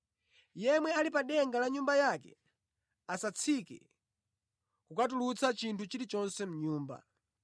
Yemwe ali pa denga la nyumba yake asatsike kukatulutsa chinthu chilichonse mʼnyumba.